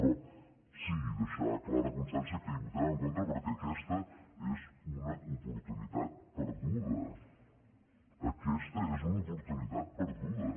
però sí deixar clara constància que hi votarem en contra perquè aquesta és una oportunitat perduda aquesta és una oportunitat perduda